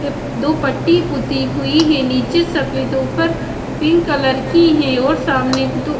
दो पट्टी पुती हुई है। नीचे सफेद ऊपर पिंक कलर की है और सामने एक दो--